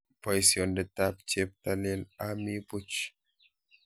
Boisiondetab cheptailel ami buch.